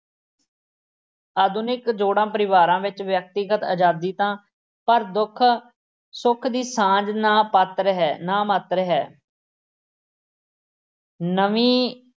ਆਧੁਨਿਕ ਜੋੜਾ-ਪਰਿਵਾਰਾਂ ਵਿੱਚ ਵਿਅਕਤੀਗਤ ਅਜ਼ਾਦੀ ਤਾਂ ਹੈ ਪਰ ਦੁੱਖ-ਸੁੱਖ ਦੀ ਸਾਂਝ ਨਾਂ-ਪਾਤਰ ਹੈ, ਨਾਂ-ਮਾਤਰ ਹੈ। ਨਵੀਂ